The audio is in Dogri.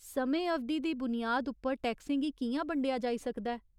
समें अवधि दी बुनियाद उप्पर टैक्सें गी कि'यां बंडेआ जाई सकदा ऐ ?